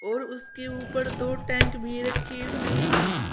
और उसके ऊपर दो टैंक भी रखे हुए हैं।